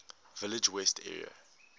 village west area